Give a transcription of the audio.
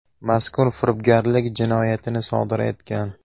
mazkur firibgarlik jinoyatini sodir etgan.